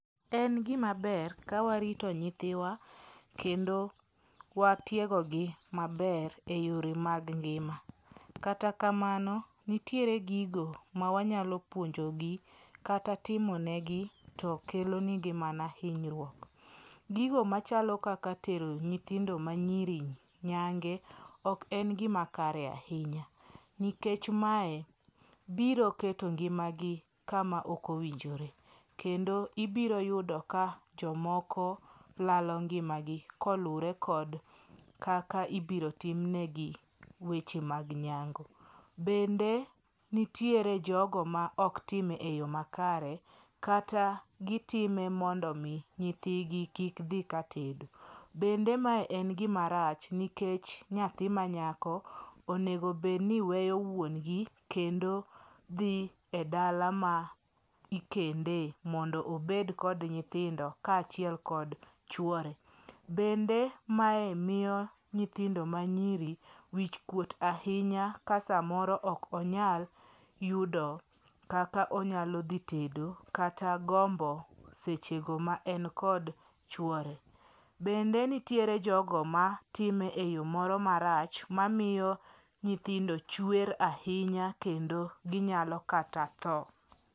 En gimaber ka warito nyithiwa kendo watiegogi maber e yore mag ngima. Kata kamano nitiere gigo ma wanyalo puonjogi kata timonegi tokelonigi mana hinyruok. Gigo machalo kaka tero nyithindo manyiri nyange ok en gima kare ahinya, nikech mae biro keto ngimagi kama ok owinjore kendo ibiroyudo ka jomoko lalo ngimagi koluwre kod kaka ibiro timnegi weche mag nyango. Bende nitiere jogo ma oktime e yo makare kata gitime mondo omi nyithigi kik dhi katedo. Bende mae en gima rach nikech nyathi manyako onego bedni weyo wuongi kendo dhi e dala ma ikende mondo obed kod nyithindo kaachiel kod chuore. Bende mae miyo nyithindo manyiri wichkuot ahinya ka samoro ok onyal yudo kaka onyalo dhi tedo kata gombo sechego ma en kod chuore. Bende nitiere jogo matime e yo moro marach mamiyo nyithindo chuer ahinya kendo ginyalo kata tho.